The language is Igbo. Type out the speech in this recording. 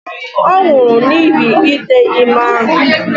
Ọ nwụrụ n'ihi ite ime ahụ.